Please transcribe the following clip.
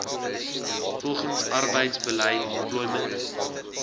volgens arbeidsbeleid employment